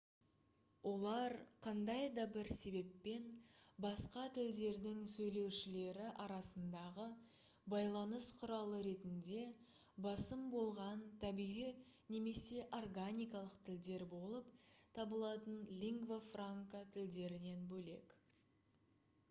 олар қандай да бір себеппен басқа тілдердің сөйлеушілері арасындағы байланыс құралы ретінде басым болған табиғи немесе органикалық тілдер болып табылатын лингва франка тілдерінен бөлек